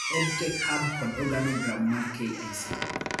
EdTech Hub kod Organogram mar KICD